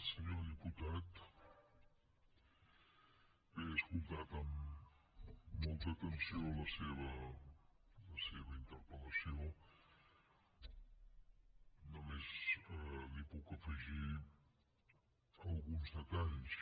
senyor diputat bé he escoltat amb molta atenció la seva interpel·lació només li puc afegir alguns detalls